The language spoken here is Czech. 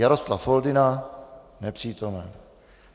Jaroslav Foldyna: Nepřítomen.